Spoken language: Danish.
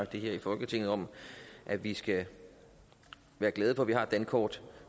her i folketinget om at vi skal være glade for at vi har et dankort